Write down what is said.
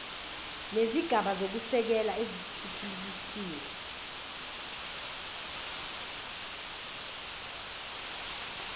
nezigaba zokusekela ezithuthukisiwe